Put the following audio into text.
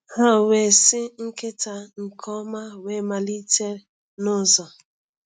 Ha wee sị nkita nke ọma wee malite n’ụzọ.